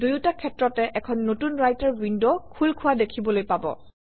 দুয়োটা ক্ষেত্ৰতে এখন নতুন ৰাইটাৰ উইণ্ড খোল খোৱা দেখিবলৈ পাব